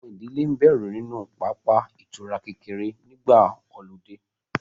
Àwọn ìdílé ń bẹ̀rù nínú pápá ìtura kékeré nígbà ọludé